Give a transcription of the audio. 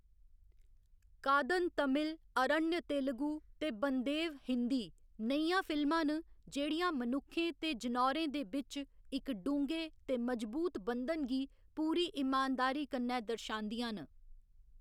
कादन तमिल, अरण्य तेलुगु ते बंदेव हिंदी नेहियां फिल्मां न जेह्‌‌ड़ियां मनुक्खें ते जनौरें दे बिच्च इक ढूंगे ते मजबूत बंधन गी पूरी इमानदारी कन्नै दर्शांदियां न।